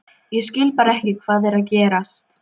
Ég skil bara ekki hvað er að gerast.